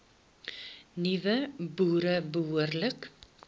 nuwe boere behoorlik